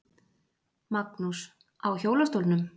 Magnús: Á hjólastólnum?